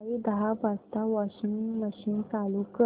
सकाळी दहा वाजता वॉशिंग मशीन चालू कर